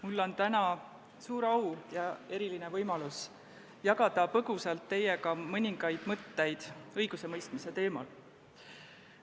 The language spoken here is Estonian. Mul on täna suur au ja eriline võimalus jagada teiega põgusalt mõningaid mõtteid õigusemõistmise teemal.